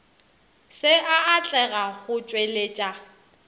se a atlega go tšweletša